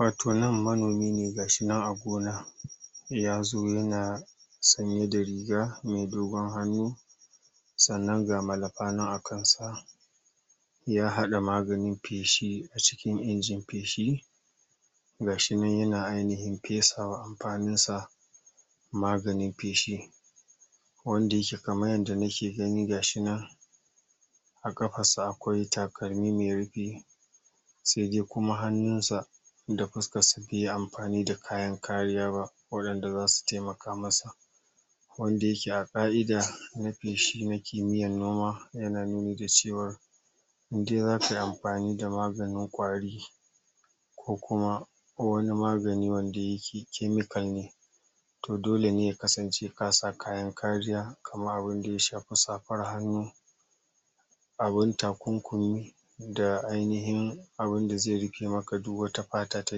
Wato nan manomi ne ga shi nan a gona ya zo yana sanye da riga me dogon hannu sannan ga malafa nan a kan sa ya haɗa maganin feshi a cikin injin feshi ga shi nan yana ainihin fesawa a fannin sa maganin feshi ne wanda yake kaman yanda nake gani gashi nan a ƙafar sa akwai takalmi me rufi se dai kuma hannun sa da fuskar sa be yi amfani da kayan kariya ba waɗanda zasu temaka masa wanda yake a ƙa'ida na feshi na kimiyyan noma yana nuni da cewa in dai akai amfani da maganin ƙwari ko kuma wani magani wanda yake chemical ne to dole ne ya kasance ka sa kayan kariya kamar abin da ya shafi safar hannu abin takunkumi da ainihin abin da zai rufe maka duk wata fata ta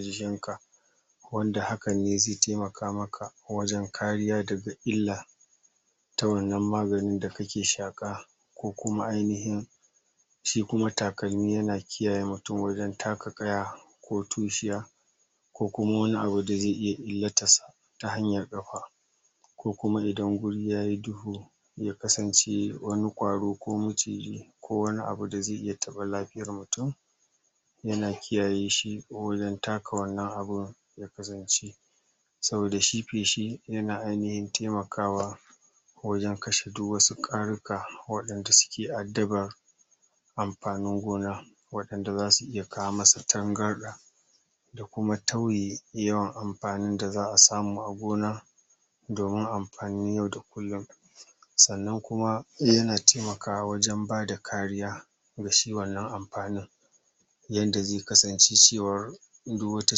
jikin ka wanda hakan ne zai taimaka maka wajen kariya daga illa ta wannan maganin da kake shaƙa ko kuma ainihin shi kuma takalmi yana kiyaye mutun wajen taka ƙaya ko tushiya ko kuma wani abu da zai iya illatan sa ta hanyar ƙafa ko kuma idan guri yayi duhu ya kasance wani ƙwaro ko maciji ko wani abu da zai iya taɓa lafiyan mutun yana kiyaye shi wajen taka wannan abin saboda shi feshi yana ainihin taimakawa wajen kashe duk wasu ƙwaruka waɗanda suke addabar amfanin gona waɗanda zasu iya kawo musu tangarɗa ya kuma tauye yawan amfanin da za'a samu a gona domin amfanin yau da kullun sannan kuma yana taimakawa wajen bada kariya da suke wannan amfanin yanda zai kasance cewa duk wata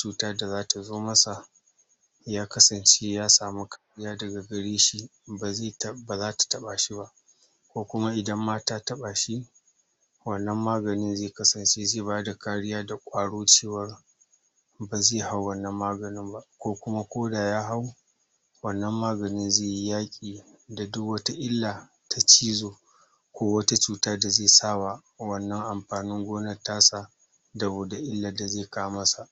cuta da zata zo masa ya kasance ya samu kariya daga gare shi ba zata taɓa shi ba ko kuma idan ma ta taɓa shi wannan maganin zai kasance zai bada kariya da ƙwaro cewa ba ze hau wannan maganin ba ko kuma koda ya hau wannan maganin zai yi yaƙi da duk wata illa ta cizo ko wata cuta da zai sa wa wannan amfanin gonan ta sa saboda illan da ze kawo masa.